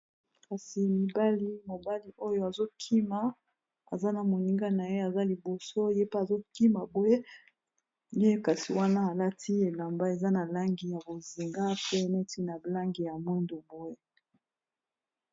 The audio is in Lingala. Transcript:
Kasi mibali mobali oyo azokima aza na moninga na ye aza liboso ye pe azokima boye ye kasi wana alati elamba eza na langi ya bozinga, pe neti na blange ya mundu boe.